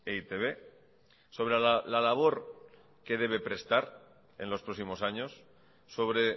e i te be sobre la labor que debe prestar en los próximos años sobre